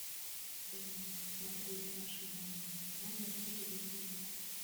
дай мне посмотреть наше новое кино на телевизоре